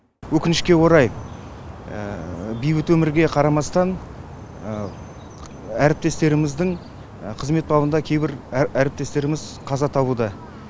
өкінішке орай бейбіт өмірге қарамастан әріптестеріміздің қызмет бабында кейбір әріптестеріміз қаза табуда